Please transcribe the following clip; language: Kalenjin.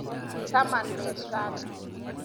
Taman bet rani.